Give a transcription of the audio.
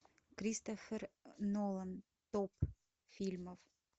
кристофер нолан топ фильмов